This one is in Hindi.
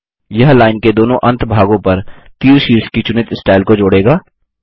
यह लाइन के दोनों अंत भागों पर तीर शीर्ष की चुनित स्टाइल को जोड़ेगा